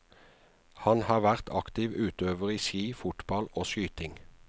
Han har vært aktiv utøver i ski, fotball og skyting.